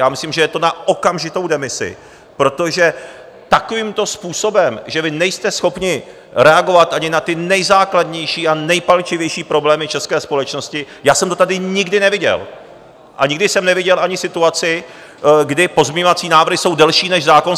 Já myslím, že je to na okamžitou demisi, protože takovýmto způsobem, že vy nejste schopni reagovat ani na ty nejzákladnější a nejpalčivější problémy české společnosti, já jsem to tady nikdy neviděl a nikdy jsem neviděl ani situaci, kdy pozměňovací návrhy jsou delší než zákon